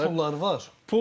Ortada böyük pulları var.